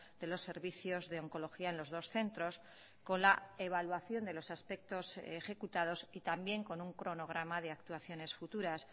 de los servicios de oncología en los dos centros con la evaluación de los aspectos ejecutados y también con un cronograma de actuaciones futuras